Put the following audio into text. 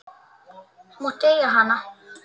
Þú mátt eiga hana!